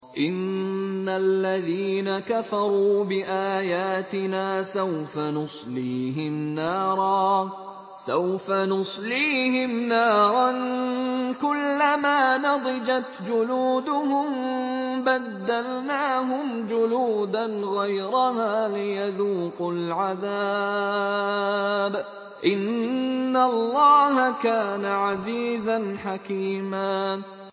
إِنَّ الَّذِينَ كَفَرُوا بِآيَاتِنَا سَوْفَ نُصْلِيهِمْ نَارًا كُلَّمَا نَضِجَتْ جُلُودُهُم بَدَّلْنَاهُمْ جُلُودًا غَيْرَهَا لِيَذُوقُوا الْعَذَابَ ۗ إِنَّ اللَّهَ كَانَ عَزِيزًا حَكِيمًا